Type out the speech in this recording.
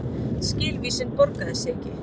Skilvísin borgaði sig ekki